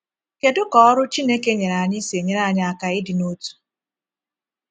Kedu ka ọrụ Chineke nyere anyị si enyere anyị aka ịdị n’otu?